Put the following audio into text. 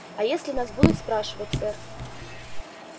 а если нас будут спрашивать сэр